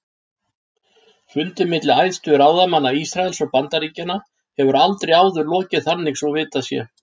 Fundi milli æðstu ráðamanna Ísraels og Bandaríkjanna hefur aldrei áður lokið þannig svo vitað sé.